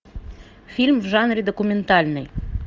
фильм в жанре документальный